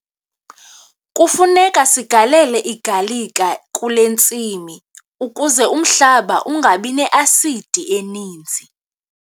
Kufuneka sigalele igalika kule ntsimi ukuze umhlaba ungabi ne-asidi eninzi.